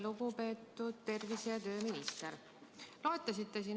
Lugupeetud tervise‑ ja tööminister!